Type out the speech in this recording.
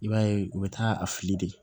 I b'a ye u bɛ taa a fili de